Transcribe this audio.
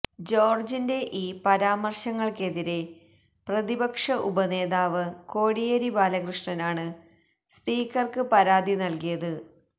ജോര്ജിന്റെ ഈ പരാമര്ശങ്ങള്ക്കെതിരെ പ്രതിപക്ഷ ഉപനേതാവ് കോടിയേരി ബാലകൃഷ്ണനാണ് സ്പീക്കര്ക്ക് പരാതി നല്കിയത്